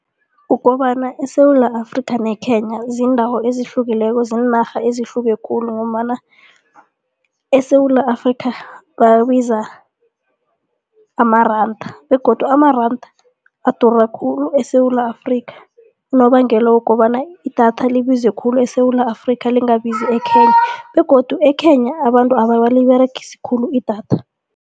Kukobana eSewula Afrika ne-Kenya ziindawo ezihlukileko ziinarha ezihluke khulu ngombana eSewula Afrika babiza amaranda begodu amaranda adura khulu eSewula Afrika unobangela wokobana idatha libize khulu eSewula Afrika lingabizi e-Kenya begodu e-Kenya abantu abaliberegisi khulu idatha.